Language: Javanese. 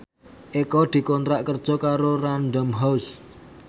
Eko dikontrak kerja karo Random House